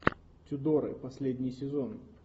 тюдоры последний сезон